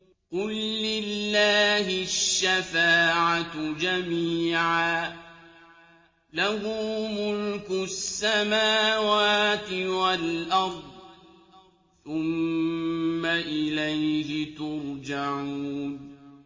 قُل لِّلَّهِ الشَّفَاعَةُ جَمِيعًا ۖ لَّهُ مُلْكُ السَّمَاوَاتِ وَالْأَرْضِ ۖ ثُمَّ إِلَيْهِ تُرْجَعُونَ